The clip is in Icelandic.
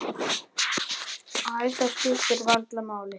Æ, það skiptir varla máli.